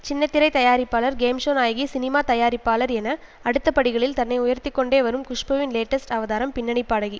சின்ன திரை தயாரிப்பாளர் கேம் ஷோ நாயகி சினிமா தயாரிப்பாளர் என அடுத்த படிகளில் தன்னை உயர்த்தி கொண்டே வரும் குஷ்புவின் லேட்டஸ்ட் அவதாரம் பின்னணி பாடகி